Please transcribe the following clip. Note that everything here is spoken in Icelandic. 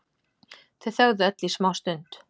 Þau þögðu öll í smástund.